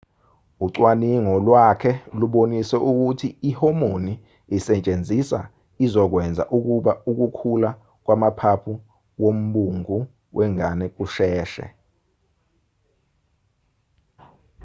ucwaningo lwakhe lubonise ukuthi uma ihomoni isetshenziswa izokwenza ukuba ukukhula kwamaphaphu wombungu wengane kusheshe